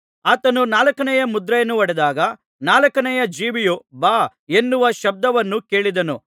ಆತನು ನಾಲ್ಕನೆಯ ಮುದ್ರೆಯನ್ನು ಒಡೆದಾಗ ನಾಲ್ಕನೆಯ ಜೀವಿಯು ಬಾ ಎನ್ನುವ ಶಬ್ದವನ್ನು ಕೇಳಿದೆನು